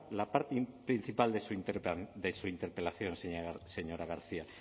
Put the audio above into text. la parte principal de su interpelación señora garcia